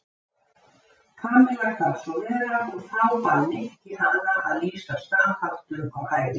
Kamilla kvað svo vera og þá bað Nikki hana að lýsa staðháttum á hæðinni.